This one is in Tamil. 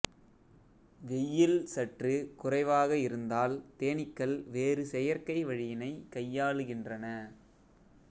வெய்யில் சற்று குறைவாக இருந்தால் தேனீக்கள் வேறு செயற்கை வழியினைக் கையாளுக்கின்றன